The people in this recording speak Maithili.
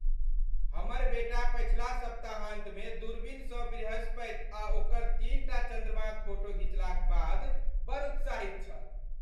हमर बेटा पछिला सप्ताहान्तमे दूरबीनसँ बृहस्पति आ ओकर तीनटा चन्द्रमाक फोटो घिचलाक बाद बड़ उत्साहित छल।